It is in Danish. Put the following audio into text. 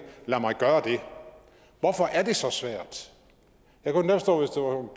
lad mig gøre det hvorfor er det så svært jeg kunne da forstå